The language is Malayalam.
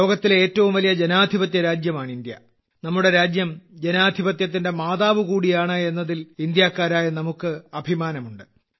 ലോകത്തിലെ ഏറ്റവും വലിയ ജനാധിപത്യരാജ്യമാണ് ഇന്ത്യ നമ്മുടെ രാജ്യം ജനാധിപത്യത്തിന്റെ മാതാവ് കൂടിയാണ് എന്നതിൽ ഇന്ത്യക്കാരായ നമുക്ക് അഭിമാനമുണ്ട്